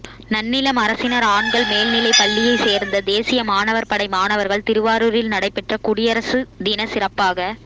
நன்னிலம் அரசினா் ஆண்கள் மேல்நிலைப் பள்ளியைச் சோ்ந்த தேசிய மாணவா் படை மாணவா்கள் திருவாரூரில் நடைபெற்ற குடியரசு தின சிறப்பாக